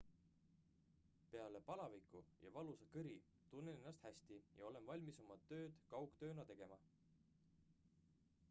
"""peale palaviku ja valusa kõri tunnen ennast hästi ja olen valmis oma tööd kaugtööna tegema.